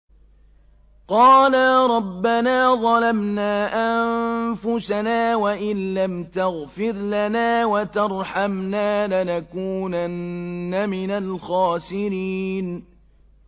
قَالَا رَبَّنَا ظَلَمْنَا أَنفُسَنَا وَإِن لَّمْ تَغْفِرْ لَنَا وَتَرْحَمْنَا لَنَكُونَنَّ مِنَ الْخَاسِرِينَ